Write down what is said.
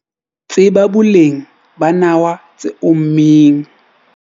Tseba boleng ba nawa tse ommeng